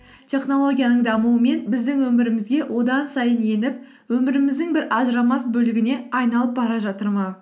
технологияның дамуымен біздің өмірімізге одан сайын еніп өміріміздің бір ажырамас бөлігіне айналып бара жатыр ма